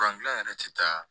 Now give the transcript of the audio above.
gilan yɛrɛ ti taa